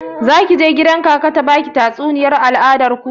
Zaki je gida kaka ta baki tatsuniyar al'adar ku?